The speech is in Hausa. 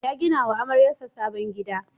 Ya gina wa amaryarsa sabon gida.